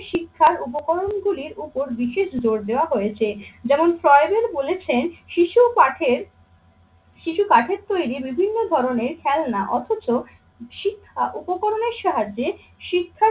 শিক্ষার উপকরণগুলির উপর বিশেষ জোর দেওয়া হয়েছে। যেমন বলেছেন শিশু ও পাঠের শিশু কাঠের তৈরি বিভিন্ন ধরনের খেলনা অথচ শিক্ষা উপকরণের সাহায্যে শিক্ষার